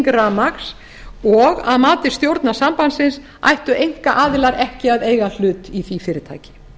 rafmagns og að mati stjórnar sambandsins ættu einkaaðilar ekki að eiga hlut í því fyrirtæki